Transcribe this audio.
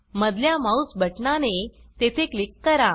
मधल्या माउस बटना ने तेथे क्लिक करा